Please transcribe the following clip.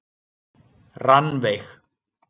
Rannveig